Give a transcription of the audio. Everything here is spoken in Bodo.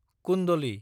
कुन्दलि